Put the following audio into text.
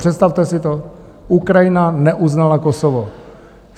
Představte si to, Ukrajina neuznala Kosovo!